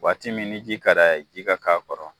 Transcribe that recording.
Waati min ji ka d'a ka k'a kɔrɔ.